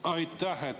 Aitäh!